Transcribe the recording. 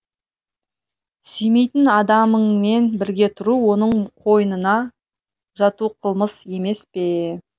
сүймейтін адамыңмен бірге тұру оның қойнына жату қылмыс емес пе